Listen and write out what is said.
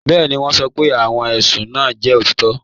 Bẹẹni, wọn sọ́ pé awọn ẹṣùn náà jẹ́ otitọ